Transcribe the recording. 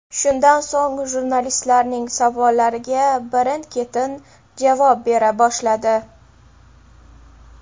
Shundan so‘ng jurnalistlarning savollariga birin-ketin javob bera boshladi.